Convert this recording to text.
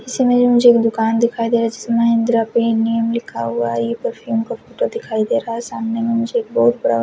इसी में मुझे एक दुकान दिखाई दे रही है जिसमे दर्पी नेम लिखा हुआ है यह फ्रफ्युम का फोटो दिखाई दे रहा हे सामने में मुझे एक बहुत बड़ा --